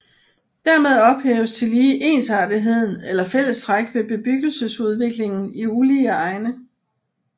Dermed ophæves tillige ensartetheden eller fællestræk ved bebyggelsesudviklingen i ulige egne